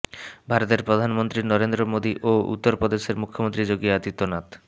ভারতের প্রধানমন্ত্রী নরেন্দ্র মোদি ও উত্তর প্রদেশের মুখ্যমন্ত্রী যোগী আদিত্যনাথ